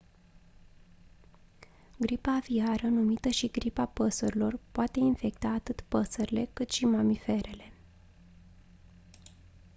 gripa aviară numită și gripa păsărilor poate infecta atât păsările cât și mamiferele